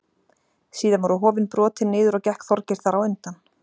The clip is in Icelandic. Síðan voru hofin brotin niður og gekk Þorgeir þar á undan.